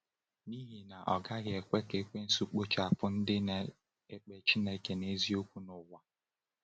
N’ihi na, ọ gaghị ekwe ka Ekwensu kpochapụ ndị na-ekpe Chineke n’eziokwu n’ụwa!